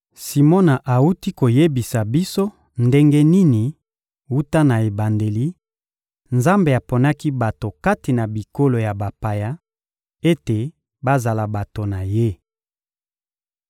Simona awuti koyebisa biso ndenge nini, wuta na ebandeli, Nzambe aponaki bato kati na bikolo ya bapaya ete bazala bato na Ye.